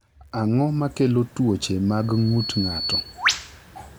Ang’o ma kelo tuoche mag ng’ut ng’ato?